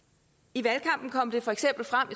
i valgkampen kom det for eksempel frem